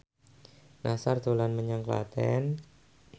Nassar dolan menyang Klaten